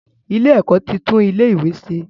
Ilé-ẹ̀kọ́ ti tún ilé-ìwé ṣe.